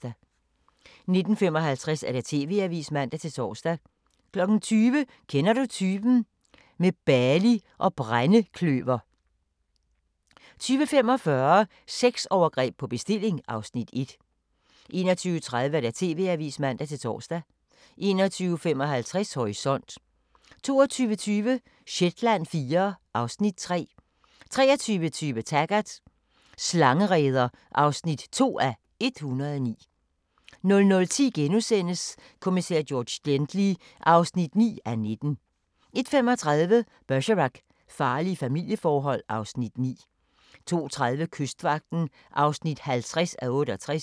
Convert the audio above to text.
19:55: TV-avisen (man-tor) 20:00: Kender du typen? – med Bali og brændekløver 20:45: Sexovergreb på bestilling (Afs. 1) 21:30: TV-avisen (man-tor) 21:55: Horisont 22:20: Shetland IV (Afs. 3) 23:20: Taggart: Slangereder (2:109) 00:10: Kommissær George Gently (9:19)* 01:35: Bergerac: Farlige familieforhold (Afs. 9) 02:30: Kystvagten (50:68)